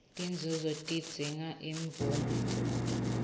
tinzunzo tidzinga imvume